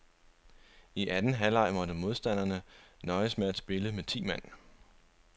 I anden halvleg måtte modstanderne nøjes med at spille med ti mand.